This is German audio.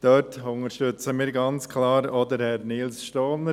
Dort unterstützen wir ganz klar auch Herrn Nils Stohner.